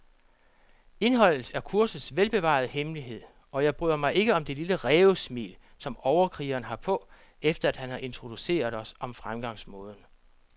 Indholdet er kursets velbevarede hemmelighed, og jeg bryder mig ikke om det lille rævesmil, som overkrigeren har på, efter han har introduceret os om fremgangsmåden.